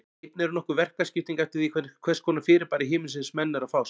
Einnig er nokkur verkaskipting eftir því við hvers konar fyrirbæri himinsins menn eru að fást.